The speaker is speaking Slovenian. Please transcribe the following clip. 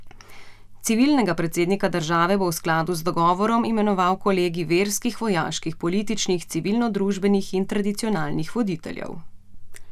Civilnega predsednika države bo v skladu z dogovorom imenoval kolegij verskih, vojaških, političnih, civilnodružbenih in tradicionalnih voditeljev.